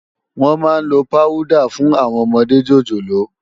Wòn má n ló páwùdá fún áwòn òmòdé jójólóò